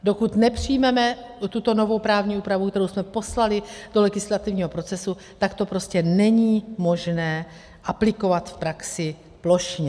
Dokud nepřijmeme tuto novou právní úpravu, kterou jsme poslali do legislativního procesu, tak to prostě není možné aplikovat v praxi plošně.